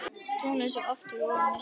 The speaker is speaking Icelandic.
Tunglið er svo oft fyrir ofan Esjuna.